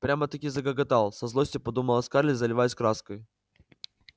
прямо-таки загоготал со злостью подумала скарлетт заливаясь краской